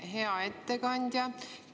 Hea ettekandja!